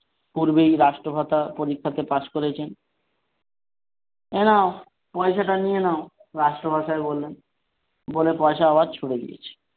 পূর্বেই রাষ্ট্রভাষা পরীক্ষাতে পাশ করেছেন। এই নাও পয়সাটা নিয়ে নাও রাষ্ট্রভাষায় বললেন বলে পয়সা আবার ছুড়ে দিয়েছে।